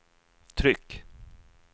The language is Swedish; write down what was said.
tryck